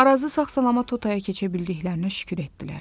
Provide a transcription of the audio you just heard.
Arazı sağ-salamat o taya keçə bildiklərinə şükür etdilər.